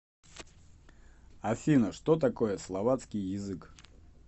афина что такое словацкий язык